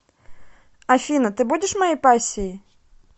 афина ты будешь моей пассией